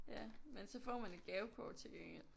Ja men så får man et gavekort til gengæld